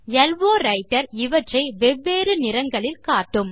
low Writer இவற்றை வெவ்வேறு நிறங்களில் காட்டும்